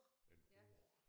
En råge